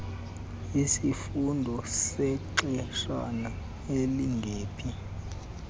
isifundo sexeshana elingephi